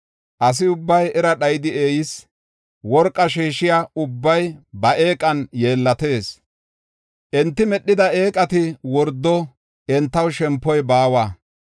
Asi ubbay era dhayidi eeyis; worqaa sheeshiya ubbay ba eeqan yeellatis. Enti medhida eeqati wordo; entaw shempoy baawa.